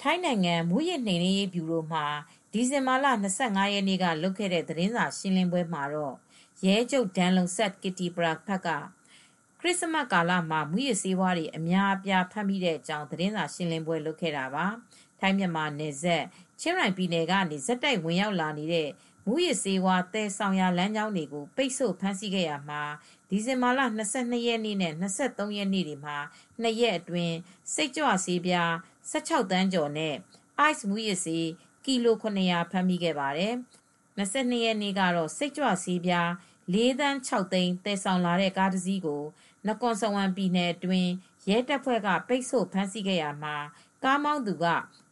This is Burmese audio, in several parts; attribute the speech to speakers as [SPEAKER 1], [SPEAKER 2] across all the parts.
[SPEAKER 1] ထိုင်းနိုင်ငံ မူးယစ်နိုမ်နင်းရေးဗျူရို က ဒီဇင်ဘာလ ၂၅ရက်နေ့ လုပ်ခဲ့တဲ့ သတင်းစာရှင်းပွဲမှာ Pol. Gen. Damrongsak Kittipraphat ရဲချုပ် ဒန်လုံဆပ် ကစ်တီပရာဖတ် က ခရစ်စမတ်ကာလမှာ မူးယစ်ဆေးဝါးတွေ အများအပြား ဖမ်းဆီးမိတဲ့အကြောင်း သတင်းစာရှင်းလင်းပွဲလုပ်ခဲ့တာပါ၊ ထိုင်း၊ မြန်မာနယ်စပ် ချင်ရိုင်ပြည်နယ် ကနေ ဆက်တိုက် ဝင်ရောက်လာနေတဲ့ မူးယစ်ဆေးဝါး သယ်ဆောင်လမ်းကြောင်းတွေကို ပိတ်ဆိုဖမ်းဆီးခဲ့ရာမှာ ဒီဇင်ဘာလ ၂၂ နဲ့ ၂၃ ရက် နှစ်ရက်အတွင်း စိတ်ကြွဆေး ၁၆သန်းကျော် နဲ့ ice မူးယစ်ဆေး ကီလို ၇၀၀ ဖမ်းမိခဲ့ပါတယ်။ ၂၂ရက်နေ့ကတော့ စိတ်ကြွဆေး ၄သန်း ၆သိန်း သယ်ဆောင်လာတဲ့ ကားတစ်စီးကို နကွန်စဝမ် ပြည်နယ်အတွင်း ရဲတပ်ဖွဲ့က ပိတ်ဆို့ဖမ်းဆီးခဲ့ရာမှာ ကားမောင်းသူက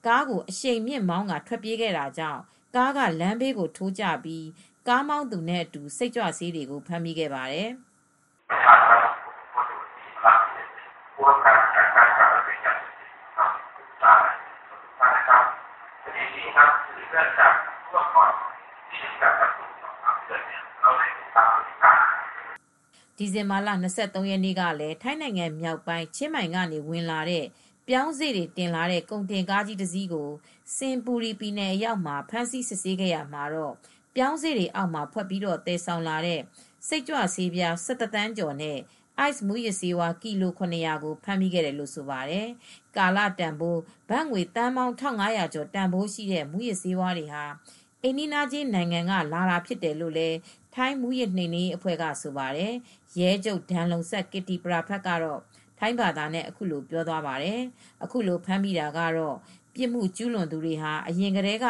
[SPEAKER 1] ကားကို အရှိန်မြင့်မောင်းကာ ထွက်ပြေးခဲ့တာကြောင့် ကားကလမ်းဘေးထိုးကျပြီး ကားမောင်းသူနဲ့အတူ စိတ်ကြွဆေးတွေကို ဖမ်းမိခဲ့ပါတယ်။ ဒီဇင်ဘာလ ၂၃ ရက်နေ့ကလည်း ထိုင်းနိုင်ငံမြောက်ပိုင်း ချင်းမိုင်ကနေ ဝင်လာတဲ့ ပြောင်းစေ့တွေတင်လာတဲ့ ကုန်တင်ကားကြီးကို စင်ဘူရီ ပြည်နယ်အရောက်မှာ ဖမ်းဆီးစစ်ဆေးခဲ့ရာ ပြောင်းစေ့တွေအောက်မှာဖွက်ပြီး သယ်ဆောင်လာတဲ့ စိတ်ကြွဆေးပြာ ၁၁ သန်းကျော်နဲ့ ice မူးယစ်ဆေး ကီလို ၇၀၀ကို ဖမ်းမိခဲ့တယ်လို့ဆိုပါတယ်။ ကာလတန်ဖိုး ဘတ်ငွေသန်းပေါင်း ၁၅၀၀ ကျော် တန်ဖိုးရှိတဲ့ မူးယစ်ဆေးဝါးတွေဟာ အိမ်နီးချင်းနိုင်ငံကနေ လာတာဖြစ်တယ်လို့ ထိုင်းမူးယစ်နှိမ်နင်းရေးအဖွဲ့ ကဆိုပါတယ်။ ရဲချုပ် ဒန်လုံဆပ် ကစ်တီပရာဖတ် က ထိုင်းဘာသာနဲ့အခုလိုပြောသွားပါတယ်။ " အခုလိုဖမ်းမိတာကတော့ ပြစ်မူ့ကျုးလွန်သူတွေဟာ အရင်ကတည်းက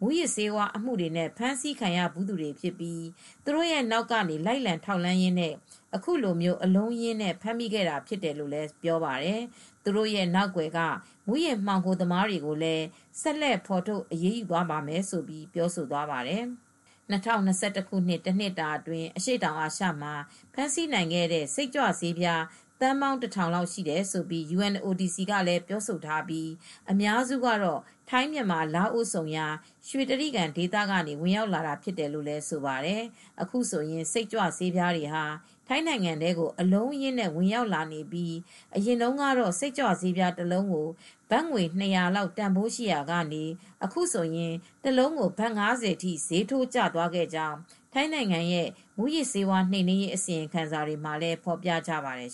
[SPEAKER 1] မူးယစ်ဆေးဝါးမှုတွေနဲ့ ဖမ်းဆီးခံရဘူးသူတွေဖြစ်ပြီး သူတို့နောက်ကနေ လိုက်လံ ထောက်လှမ်းရင်းနဲ့ အခုလို အလုံးအရင်းနဲ့ ဖမ်းမိခဲ့တာဖြစ်တယ်လို့ ဆိုပါတယ်။ သူတို့ရဲ့ နောက်ကွယ်က မူးယစ်မှောင်ခိုသမားတွေကိုလည်း ဆက်လက်ဖော်ထုတ် အရေးယူသွားမယ်" လို့လည်း ပြောသွားပါတယ်။ ၂၀၂၁ ခုနှစ် တနှစ်တာအတွင်း အရှေ့တောင်အာရှမှာ ဖမ်းဆီးနိုင်ခဲ့တဲ့ စိတ်ကြွဆေးပြားဟာ သန်းပေါင်း ၁၀၀၀ရှိတယ်လို့ United Nations Office on Drugs and Crime (UNODC) လည်းပြောထားပြီး အများစုကတော့ ထိုင်း ၊မြန်မာ၊ လာအိုဝ် ဆုံရာ ရွှေတြိဂံဒေသကနေ ဝင်ရောက်လာနေတာဖြစ်ပါတယ်။ အခုဆိုရင် စိတ်ကြွဆေးပြားတွေဟာ ထိုင်းနိုင်ငံထဲကို အလုံးအရင်းနဲ့ ဝင်ရောက်လာနေပြီး အရင်တုန်းက စိတ်ကြွဆေးတလုံးကို ဘတ်ငွေ ၂၀၀ လောက်ရှိရာကနေ တလုံးဘတ် ၅၀ထိ ဈေးထိုးကျသွားခဲ့ကြောင်း ထိုင်းနိုင်ငံရဲ့ မူးယစ်ဆေးဝါး နှိမ်နင်းရေး အစီရင်ခံစာတွေမှာ ဖော်ပြကြပါတယ်